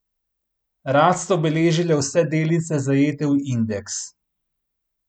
Rast so beležile vse delnice, zajete v indeks.